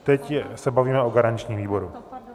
Teď se bavíme o garančním výboru.